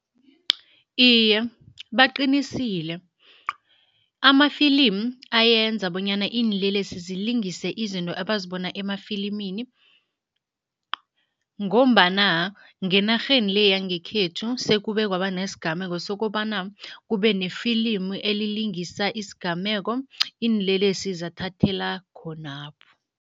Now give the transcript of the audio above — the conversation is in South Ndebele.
Iye, baqinisile. Amafilimi ayenza bonyana iinlelesi zilingise izinto abazibona emafilimini ngombana ngenarheni le yangekhethu, sekube kwaba nesigameko sokobana kube nefilimu elilingisa isigameko, iinlelesi zathathela khonapho.